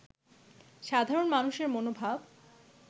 সাধরণ মানুষের মনোভাব